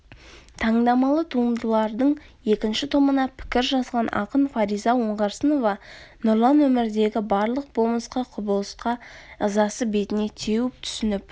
тандамалы туындылардың екінші томына пікір жазған ақын фариза оңғарсынова нұрлан өмірдегі барлық болмысқа құбылысқа ызасы бетіне теуіп түсініп